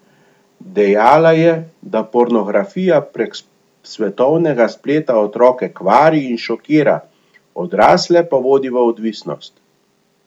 Dejala je, da pornografija prek svetovnega spleta otroke kvari in šokira, odrasle pa vodi v odvisnost.